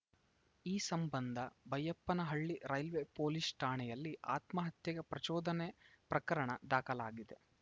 ಈ ಸಂಬಂಧ Baiyappanahalli railway police ಠಾಣೆಯಲ್ಲಿ ಆತ್ಮಹತ್ಯೆಗೆ ಪ್ರಚೋದನೆ ಪ್ರಕರಣ ದಾಖಲಾಗಿದೆ